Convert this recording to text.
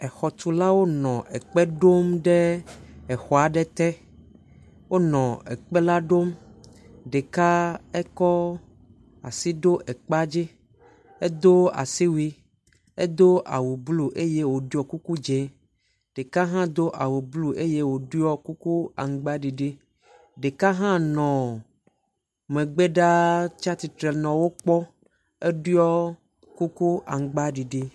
Exɔtulawo nɔ ekpe ɖom ɖe exɔa ɖe te. Wonɔ ekpe la ɖom, ɖeka ekɔ asi ɖo ekpea dzi. Edo asiwuie, edo awu blu eye woɖɔe kuku dz0. Ɖeka hã do awu blu eye woɖɔe kuku amgbaɖiɖi. ɖeka hã nɔ megbe ɖaa tsia tsitre nɔ wokpɔ eɖɔe kuku amgbadidi